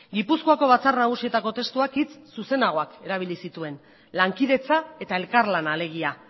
gipuzkoako batzar nagusietako testuak hitz zuzenagoak erabili zituen lankidetza eta elkarlana alegia